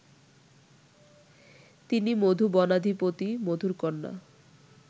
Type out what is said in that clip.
তিনি মধুবনাধিপতি মধুর কন্যা